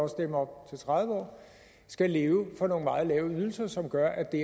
også dem op til tredive år skal leve for nogle meget lave ydelser som gør at det